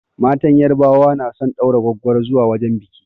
Matan yarbawa na son ɗaura gwaggwaro zuwa wajen biƙi